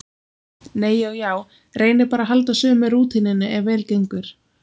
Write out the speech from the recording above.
Nei og já, reyni bara að halda sömu rútínunni ef vel gengur.